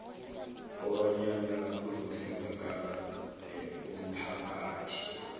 kobanyana kuzokusizakala umphakathi